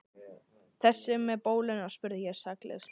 Þessi með bóluna? spurði ég sakleysislega.